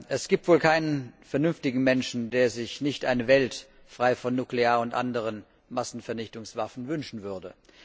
Es gibt wohl keinen vernünftigen Menschen, der sich nicht eine Welt frei von nuklearen und anderen Massenvernichtungswaffen wünschen würde.